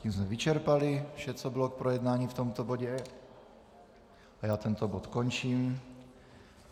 Tím jsme vyčerpali vše, co bylo k projednání v tomto bodě a já tento bod končím.